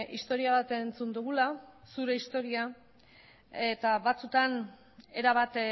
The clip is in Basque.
historia bat entzun dugula zure historia eta batzuetan erabat